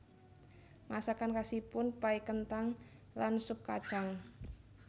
Masakan khasipun pai kenthang lan sup kacang